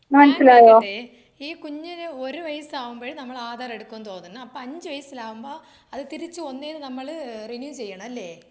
ഞാന് ചോയിക്കട്ടെ ഈ കുഞ്ഞിന് ഒരു വയസ്സാവുമ്പോഴും നമ്മൾ ആധാർ എടുക്കുമെന്ന് തോന്നുന്നു അപ്പൊ അഞ്ചു വയസ്സിലാവുമ്പോ അത് തിരിച്ചു ഒന്നിന് നമ്മള് റിന്യൂ ചെയ്യണം അല്ലേ?